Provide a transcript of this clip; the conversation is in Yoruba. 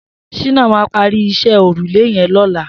Shina mà pàrí iṣẹ̀ órúlé yèn lọ̀lá